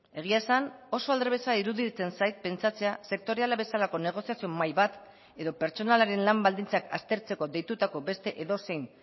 egia esan oso aldrebesa iruditzen zait pentsatzea sektoriala bezalako negoziazio mahai bat edo pertsonalaren lan baldintzak aztertzeko deitutako beste edozein